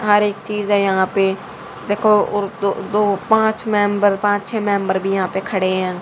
हर एक चीज है यहां पे देखो और दो दो पांच मेंबर पांच छह मेंबर भी यहां पे खड़े हैं।